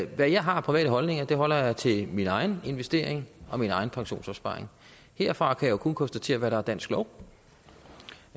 hvad jeg har af private holdninger holder jeg til min egen investering og min egen pensionsopsparing herfra kan jeg jo kun konstatere hvad der er dansk lov